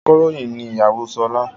Akọ̀ròyìn ni ìyàwó Ṣọlá.